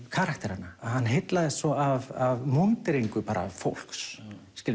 karakterana hann heillaðist svo af múnderingu fólks